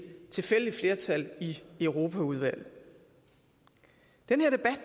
tilfældigt flertal i europaudvalget den